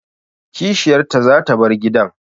Kishiyarta zata bar gidan